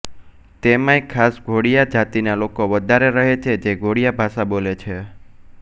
તેમાંય ખાસ ધોડિયા જાતિના લોકો વધારે રહે છે જે ધોડિયા ભાષા બોલે છે